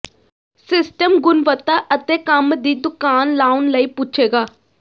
system ਗੁਣਵੱਤਾ ਅਤੇ ਕੰਮ ਦੀ ਦੁਕਾਨ ਲਾਉਣ ਲਈ ਪੁੱਛੇਗਾ